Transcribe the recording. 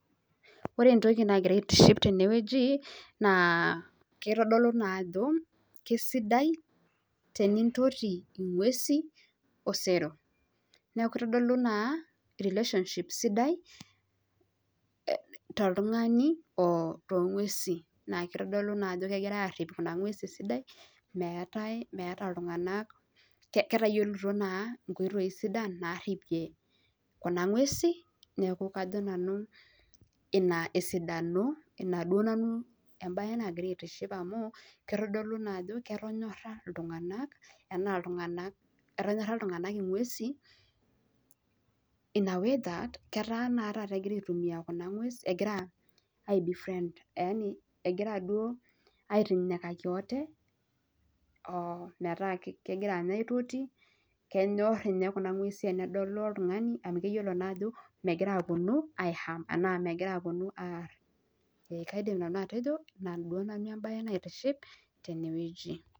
Ore entoki nagira aitiship tene naa keitodolu naa ajo kesidai tenintoti ingwesi osero niaku keitodolu naa relationship sidai toltungani oo toongwesi naa keitodolu naa ajo kerhipitoi nena ngwesi esidai naa meeta ketayilito ingoitoi sidai narhipie kuna ngwesi Etonyorha iltunganak ingwesi egira aitoti kenyor ninye kuna ngwesi tenedolu oltung'ani amu keyiolo ajo megira apuonu aar